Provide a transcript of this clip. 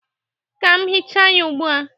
Ka m hịcha ya ugbu a.